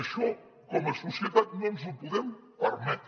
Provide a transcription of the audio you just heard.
això com a societat no ens ho podem permetre